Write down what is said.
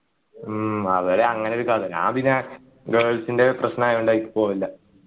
ഉം അവര് അങ്ങനൊരു കഥ ഞാൻ പിന്നെ girls ൻ്റെ പ്രശ്നായോണ്ട് അതിലേക്ക് പോകലില്ല